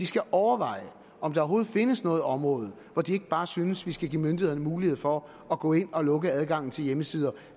skal overveje om der overhovedet findes noget område hvor de ikke bare synes vi skal give myndighederne mulighed for at gå ind og lukke adgangen til hjemmesider